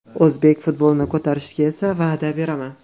O‘zbek futbolini ko‘tarishga esa va’da beraman!